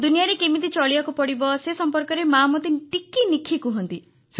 ଦୁନିଆରେ କେମିତି ଚଳିବାକୁ ପଡ଼ିବ ସେ ସମ୍ପର୍କରେ ମାଆ ମୋତେ ଟିକିନିଖି କହନ୍ତି